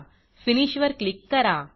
finish वर click करा